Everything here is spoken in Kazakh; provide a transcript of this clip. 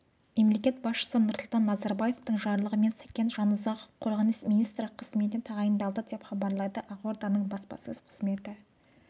мемлекет басшысы нұрсұлтан назарбаевтың жарлығымен сәкен жасұзақов қорғаныс министрі қызметіне тағайындалды деп хабарлайды ақорданың баспасөз қызметі